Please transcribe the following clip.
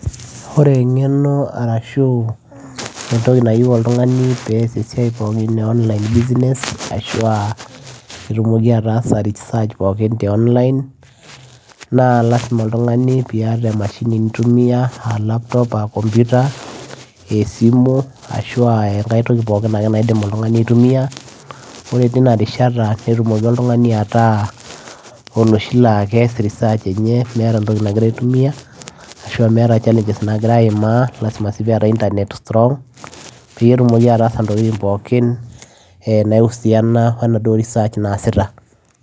Ore engenoarashuu entoki nayieu oltungani pee eas esiai ppokin e online business peyie etumoki ataasa research pooki te online naa lasima oltungani peyie iyata emashini nitumia aa laptop aaa kompita aa esimu ashua enkai toki ake pooki naidim oltungani aitumia ore teina risha netumoki oltungani ata oloshi laa keas research enye meeta entoki nagira aitumia. Lasima sii peyie eeta entanet strong peetumoki ataasa ntokitin pookin nausiana wenaduo research naasita.